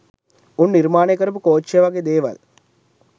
උන් නිර්මානය කරපු කෝච්චිය වගේ දේවල්